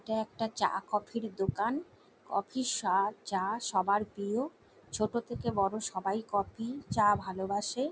এটা একটা চা কফি এর দোকান। কফি এর স্বাদ চা সবার প্রিয়। ছোটো থেকে বড়ো সবাই কফি চা ভালোবাসে।